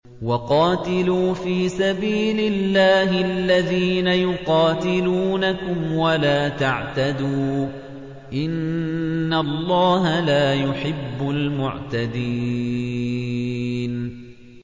وَقَاتِلُوا فِي سَبِيلِ اللَّهِ الَّذِينَ يُقَاتِلُونَكُمْ وَلَا تَعْتَدُوا ۚ إِنَّ اللَّهَ لَا يُحِبُّ الْمُعْتَدِينَ